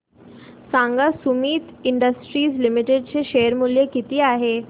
सांगा Sumeet industries limited चे share मूल्य किती आहे